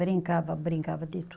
Brincava, brincava de